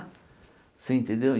Você entendeu?